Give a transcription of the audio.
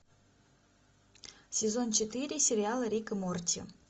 сезон четыре сериала рик и морти